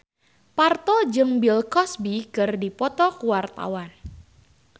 Parto jeung Bill Cosby keur dipoto ku wartawan